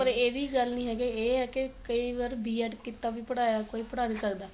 ਪਰ ਇਹ ਵੀ ਗੱਲ ਨੀ ਹੈਗੀ ਇਹ ਏ ਕੇ ਕਈ ਵਾਰ B ED ਕੀਤਾ ਵੀ ਪੜਾਇਆ ਕੋਈ ਪੜਾ ਨੀ ਸਕਦਾ